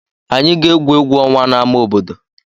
Anyị ga-egwu egwu ọnwa n'ámá obodo.